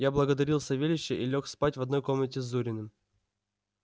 я благодарил савельича и лёг спать в одной комнате с зуриным